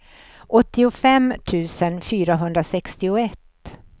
åttiofem tusen fyrahundrasextioett